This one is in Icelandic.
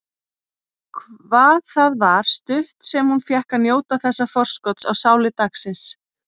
Hvað það var stutt sem hún fékk að njóta þessa forskots á sælu dagsins.